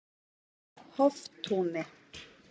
Hoftúni